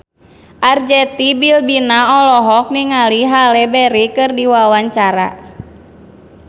Arzetti Bilbina olohok ningali Halle Berry keur diwawancara